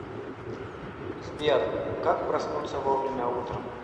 сбер как проснуться вовремя утром